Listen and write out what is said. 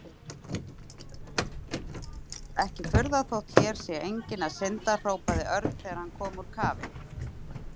Ekki furða þótt hér sé enginn að synda hrópaði Örn þegar hann kom úr kafi.